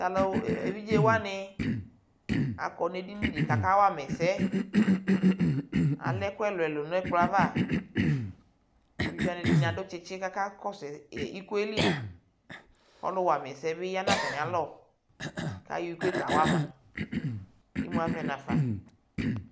Tʋ alʋ evidze wanɩ akɔ nʋ edini dɩ kʋ akawa ma ɛsɛ Alɛ ɛkʋ ɛlʋ-ɛlʋ nʋ ɛkplɔ yɛ ava kʋ evidze wanɩ, ɛdɩnɩ adʋ tsɩtsɩ kʋ akakɔsʋ ɛsɛ iko yɛ li Ɔlʋwa ma ɛsɛ yɛ bɩ ya nʋ atamɩalɔ kʋ ayɔ iko yɛ kawa ma Imu avɛ nafa